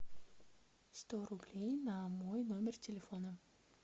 сто рублей на мой номер телефона